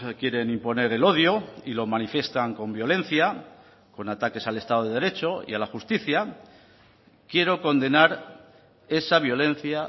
quieren imponer el odio y lo manifiestan con violencia con ataques al estado de derecho y a la justicia quiero condenar esa violencia